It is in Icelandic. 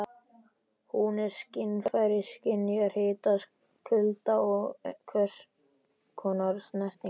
Hún er skynfæri- skynjar hita, kulda og hvers konar snertingu.